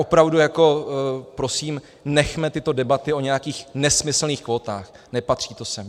Opravdu prosím, nechme tyto debaty o nějakých nesmyslných kvótách, nepatří to sem.